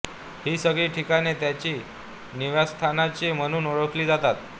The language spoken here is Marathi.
ही सगळी ठिकाणे त्याची निवासस्थाने म्हणून ओळखली जातात